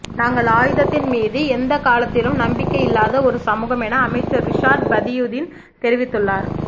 நாங்கள் ஆயுதத்தின் மீது எந்தக் காலத்திலும் நம்பிக்கை இல்லாத ஒரு சமூகம் என அமைச்சர் ரிஷாட் பதியுதீன் தெரிவித்துள்ளார்